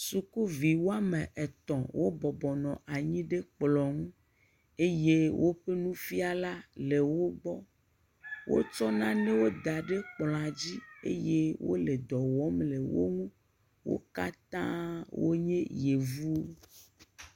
Sukuvi woame etɔ̃ wo bɔbɔnɔ anyi ɖe kplɔ̃ ŋu, eye woƒe nufiala le wo gbɔ, wo tsɔ nanewo da ɖe kplɔ̃a dzi eye wole dɔwɔm le wo ŋu wo kata wo nye yevuwo.